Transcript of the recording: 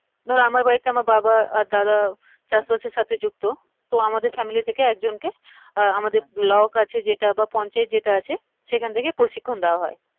ধরো আমার বাড়িতে আমার বাবা আর দাদা উম চাষবাসের সাথে যুক্ত তো আমাদের family থেকে একজন কে আহ আমাদের block আছে যেটা বা পঞ্চায়েত যেটা আছে সেখান থেকে প্রশিক্ষণ দেয়া হয়